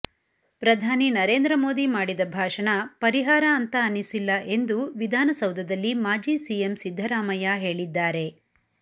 ಪ್ರಧಾನಿ ನರೇಂದ್ರ ಮೋದಿ ಮಾಡಿದ ಭಾಷಣ ಪರಿಹಾರ ಅಂತ ಅನಿಸಿಲ್ಲ ಎಂದು ವಿಧಾನಸೌಧದಲ್ಲಿ ಮಾಜಿ ಸಿಎಂ ಸಿದ್ದರಾಮಯ್ಯ ಹೇಳಿದ್ದಾರೆ